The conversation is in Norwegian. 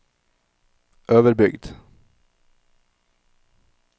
Øverbygd